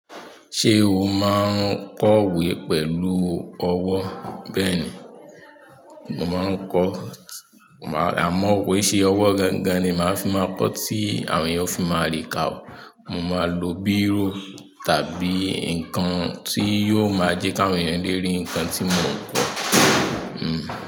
Ṣé o máa ń kọ ìwé pẹ̀lú ọwọ́? Bẹ́ẹ̀ni, mo máa ń kọ àmọ́ ko i ṣe ọwọ́ gangan ni màá fi máa kọ tí àwọn èèyàn ó fi máa ri kà ó. Mo máa lo bírò tàbí nǹkan tí yóò máa jẹ́ kí àwọn ènìyàn lè rí nǹkan tí mò ń kọ. Hmmm.